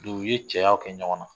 u ye cɛyaw kɛ ɲɔgɔn na